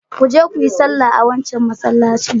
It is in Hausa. Ku je ku yi sallah a wancan masallacin.